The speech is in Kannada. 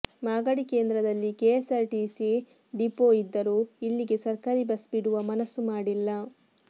ಮಾಗಡಿ ಕೇಂದ್ರದಲ್ಲಿ ಕೆಎಸ್ಆರ್ ಟಿಸಿ ಡಿಪೋ ಇದ್ದರೂ ಇಲ್ಲಿಗೆ ಸರ್ಕಾರಿ ಬಸ್ ಬಿಡುವ ಮನಸ್ಸು ಮಾಡಿಲ್ಲ